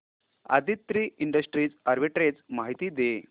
Aditri industries arbitrage माहिती दे